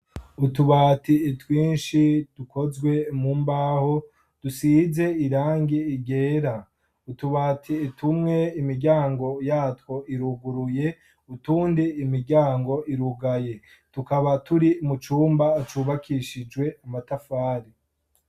utubati twinshi dukozwe mu mbaho dusize irangi ryera ,utubati tumwe imiryango yatwo iruguruye utundi imiryango irugaye tukaba turi mu cumba cubakishijwe amatafari.